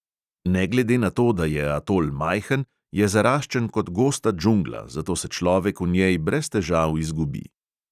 Ne glede na to, da je atol majhen, je zaraščen kot gosta džungla, zato se človek v njej brez težav izgubi.